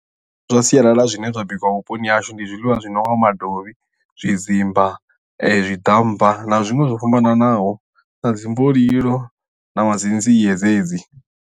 Zwiḽiwa zwa sialala zwine zwa bikiwa vhuponi hahashu ndi zwiḽiwa zwi nonga madovhi, zwidzimba, zwiḓammba na zwiṅwe zwo fhambananaho na dzimbolilo na dzi nzie dzedzi.